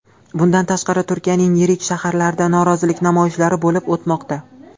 Bundan tashqari, Turkiyaning yirik shaharlarida norozilik namoyishlari bo‘lib o‘tmoqda .